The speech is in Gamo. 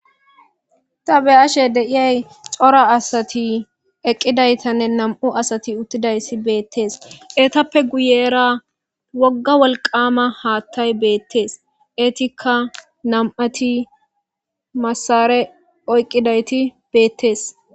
ta be7ashe deiyay cora asati eqqidaytanne nam7u asati uttidayssi beettees eetappe guyera wogga wolqama haattay beettees eetikka nam7ati massare oyqqidayti beettees